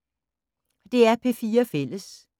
DR P4 Fælles